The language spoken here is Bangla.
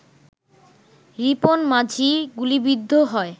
রিপন মাঝি গুলিবিদ্ধ হয়